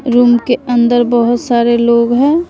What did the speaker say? Room के अंदर बहोत सारे लोग हैं।